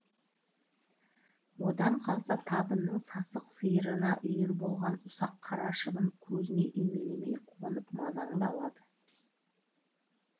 одан қалса табынның сасық сиырына үйір болған ұсақ қара шыбын көзіңе үймелей қонып мазаңды алады